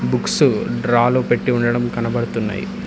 Books drawer లో పెట్టి ఉండడం కనపడుతున్నయి.